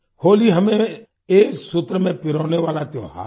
होली हमें एक सूत्र में पिरोने वाला त्योहार है